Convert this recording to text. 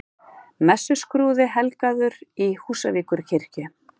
Messuskrúði helgaður í Húsavíkurkirkju